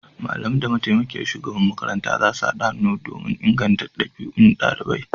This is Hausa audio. Malamai da mataimakiyar shugaban makaranta zasu haɗa hannu don inganta ɗabi'un ɗaliban